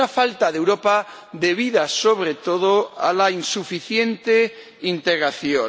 Una falta de Europa debida, sobre todo, a la insuficiente integración.